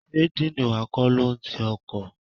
Sé dean wa kọ́ ló n ti ọkọ̀?